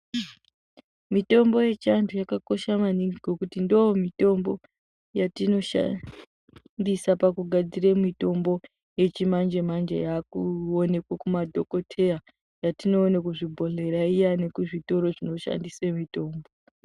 Mitombo yechiantu yakakosha maningi ngokuti ndomitombo yatinoshandisa pakugadzire mitombo yechimanje manje yakuonekwe kuma dhokoteya, yatinoone kuzvibhodhlera iya nokuzvitoro zvinotengese mitombo.